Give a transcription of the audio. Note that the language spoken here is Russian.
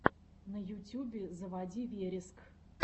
на ютюбе заводи вереск